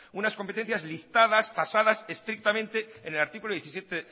unas competencias listadas tasadas estrictamente en el artículo diecisiete